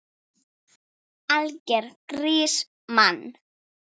Algjör grís, mann!